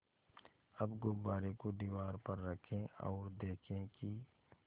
अब गुब्बारे को दीवार पर रखें ओर देखें कि